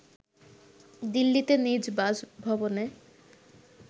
দিল্লিতে নিজ বাসভবনে